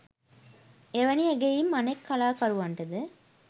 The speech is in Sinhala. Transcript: එවැනි ඇගයීම් අනෙක් කලාකරුවන්ටද